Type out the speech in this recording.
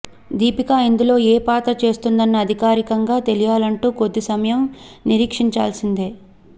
దీపికా ఇందులో ఏ పాత్ర చేస్తుందన్న అధికారికంగా తెలియాలంటే కొద్ది సమయం నిరీక్షించాల్సిందే